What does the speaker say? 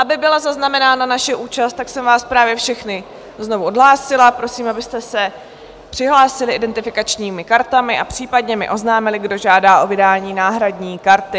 Aby byla zaznamenána naše účast, tak jsem vás právě všechny znovu odhlásila, prosím, abyste se přihlásili identifikačními kartami a případně mi oznámili, kdo žádá o vydání náhradní karty.